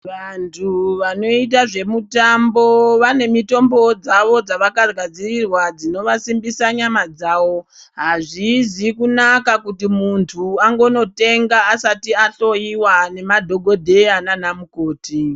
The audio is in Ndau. Vantu vanoita zvemutambo vane mitombowo dzavo dzavakagadzirirwa dzinovasimbisa nyama dzawo, hazvizi kunaka kuti muntu angonotenga asati ahloyiwa nemadhokodheya nana mukoti.